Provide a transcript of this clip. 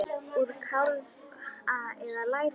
Úr kálfa eða læri!